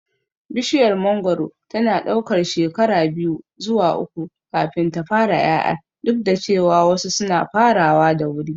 Bishiyar mangoro tana ɗaukar shekara biyu zuwa uku kafin ta fara ƴaƴa, duk da cewa wasu suna farawa da wuri.